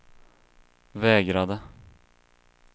vägrade